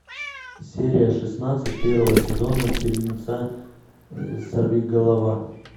серия шестнадцать первого сезона фильмеца сорвиголова